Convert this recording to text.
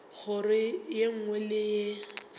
kgoro ye nngwe le ye